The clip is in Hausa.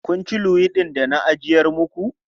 Kun ci luwaiɗin da na ajiyar maku?